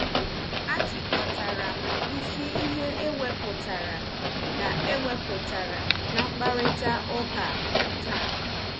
Achịkọtara m isi ihe ewepụtara na ewepụtara na mkparịta ụka taa.